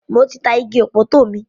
Mo ti ta igi ọ̀pọ̀tọ́ mi.